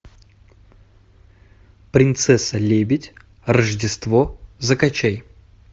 принцесса лебедь рождество закачай